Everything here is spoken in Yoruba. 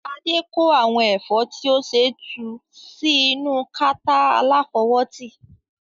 Adé kó àwọn ẹ̀fọ́ tí ó ṣẹ̀ tu sí inú kata aláfọwótì.